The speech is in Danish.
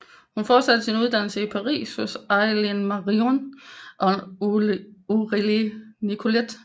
Hun fortsatte sin uddannelse i Paris hos Alain Marion og Aurèle Nicolet